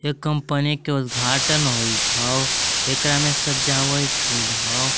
Company के उद्घाटन होइत हौ एकरा में सजावट होल हौ।